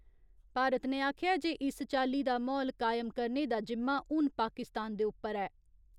भारत ने आखेआ ऐ जे इस चाल्ली दा म्हौल कायम करने दा जिम्मा हून पाकिस्तान दे उप्पर ऐ।